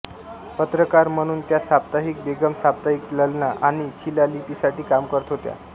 पत्रकार म्हणून त्या साप्ताहिक बेगम साप्ताहिक ललना आणि शिलालिपीसाठी काम करत होत्या